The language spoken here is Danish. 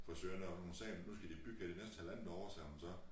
Frisøren deroppe hun sagde jamen nu skal de bygge her de næste halvandet år sagde hun så